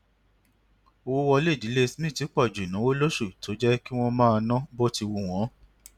owó wọlé ìdílé smith pọ ju ináwó lósù tó jé kí wón máa ná bó ti wù wón